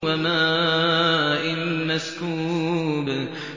وَمَاءٍ مَّسْكُوبٍ